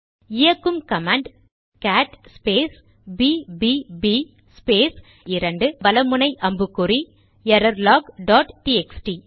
இயக்கும் command cat space பிபிபிbbb space 2 வல அம்புக்குறி எரர்லாக் டாட் டிஎக்ஸ்டி